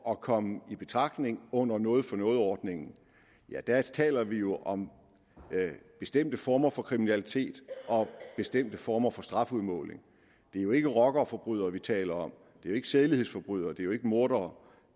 at komme i betragtning under noget for noget ordningen taler vi jo om bestemte former for kriminalitet og bestemte former for strafudmåling det er jo ikke rockerforbrydere vi taler om det er jo ikke sædelighedsforbrydere og det er jo ikke mordere